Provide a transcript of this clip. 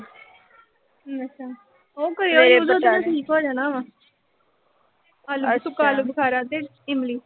ਉਹ ਠੀਕ ਹੋ ਜਾਣਾ ਵਾ। ਆਲੂ ਬੁ ਅਹ ਸੁੱਕਾ ਆਲੂ ਬੁਖਾਰਾ ਤੇ ਇਮਲੀ।